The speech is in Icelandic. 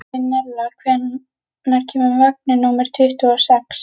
Marinella, hvenær kemur vagn númer tuttugu og sex?